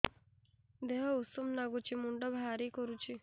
ଦିହ ଉଷୁମ ନାଗୁଚି ମୁଣ୍ଡ ଭାରି କରୁଚି